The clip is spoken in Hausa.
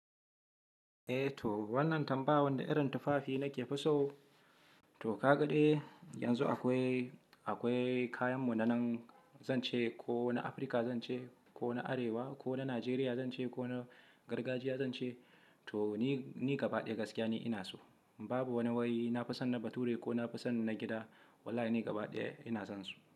Eh to wannan tambaya wanda irin tufafi nake fiso. To kade ya yanzu akwai, akwai kayan mu na nan zan ce ko na Afirka zan ce, ko na Arewa, ko na Najeriya zan ce, ko na gargajiya zan ce. To ni, ni gaba ɗaya gaskiya ne ina so. Babu wani wai na fisanna bature ko na fusan na gida. Wallahi ni gaba ɗaya ina zan su.